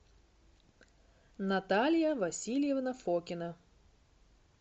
наталья васильевна фокина